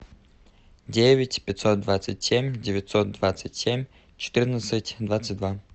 девять пятьсот двадцать семь девятьсот двадцать семь четырнадцать двадцать два